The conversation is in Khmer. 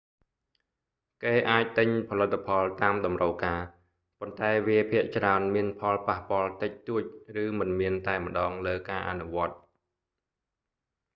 គេអាចទិញផលិតផលតាមតម្រូវការ ប៉ុន្តែវាភាគច្រើនមានផលប៉ះពាល់តិចតួចឬមិនមានតែម្តងលើការអនុវត្ត